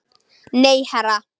Nei, herra